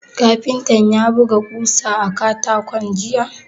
Kafintan ya buga ƙosan a katako jiya?